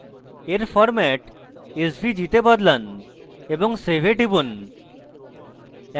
এর format svg তে বদলান এবং save এ টিপুন